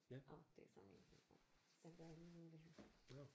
Åh det er så min telefon den gør jeg lige noget ved her